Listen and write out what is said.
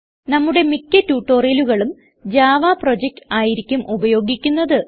നമ്മുടെ മിക്ക്യ ട്യൂട്ടോറിയലുകളിലും ജാവ പ്രൊജക്ട് ആയിരിക്കും ഉപയോഗിക്കുന്നത്